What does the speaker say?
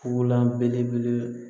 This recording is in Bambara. Fula belebele